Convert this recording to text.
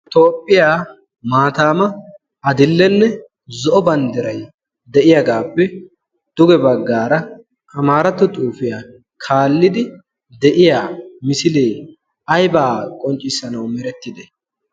toophphiyaa maataama adill''enne zo'o banddiray de'iyaagaappe duge baggaara amaaratto xuufiyaa kaallidi de'iya misilee aybaa qonccissanawu merettide